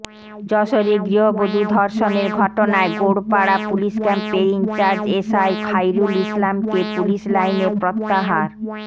যশোরে গৃহবধূ ধর্ষণের ঘটনায় গোড়পাড়া পুলিশ ক্যাম্পের ইনচার্জ এসআই খাইরুল ইসলামকে পুলিশ লাইনে প্রত্যাহার